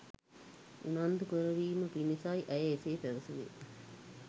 උනන්දු කරවීම පිණිසයි ඇය එසේ පැවසුවේ.